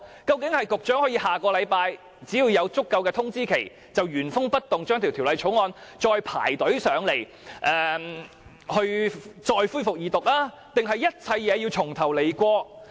究竟是局長有了足夠的通知期，下星期便可以原封不動把《條例草案》再提交立法會恢復二讀，還是一切要重新開始？